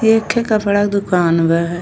एक ठे कपड़ा क दुकान बा है।